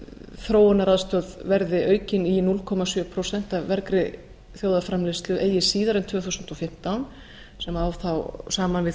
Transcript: þróunaraðstoð verði aukin í núll komma sjö prósent af vergri þjóðarframleiðslu eigi síðar en tvö þúsund og fimmtán sem á þá saman við